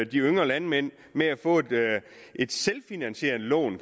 de yngre landmænd med at få et selvfinansierende lån